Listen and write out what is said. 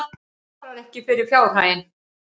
Svarar ekki fyrir fjárhaginn